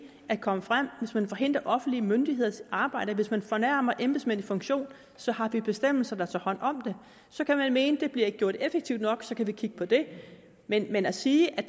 at komme frem hvis man forhindrer offentlige myndigheders arbejde hvis man fornærmer embedsmænd i funktion så har vi bestemmelser der tager hånd om det så kan man mene det bliver gjort effektivt nok og så kan vi kigge på det men at sige at